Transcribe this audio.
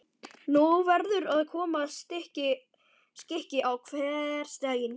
Nú verður að koma skikki á hversdaginn.